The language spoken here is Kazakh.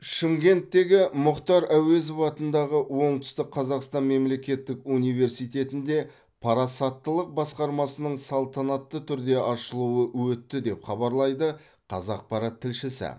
шымкенттегі мұхтар әуезов атындағы оңтүстік қазақстан мемлекеттік университетінде парасаттылық басқармасының салтанатты түрде ашылуы өтті деп хабарлайды қазақпарат тілшісі